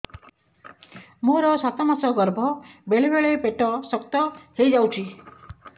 ମୋର ସାତ ମାସ ଗର୍ଭ ବେଳେ ବେଳେ ପେଟ ଶକ୍ତ ହେଇଯାଉଛି